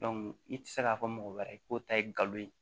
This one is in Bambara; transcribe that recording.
i tɛ se k'a fɔ mɔgɔ wɛrɛ ko ta ye nkalon ye